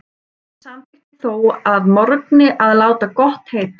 Samþykkti þó að morgni að láta gott heita.